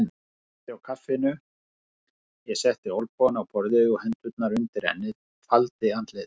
Hún dreypti á kaffinu, ég setti olnbogana á borðið og hendurnar undir ennið, faldi andlitið.